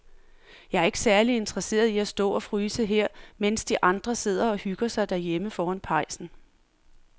Jeg er ikke særlig interesseret i at stå og fryse her, mens de andre sidder og hygger sig derhjemme foran pejsen.